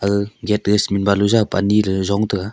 ga gate e cement balu jawpa anyiley yong taiga.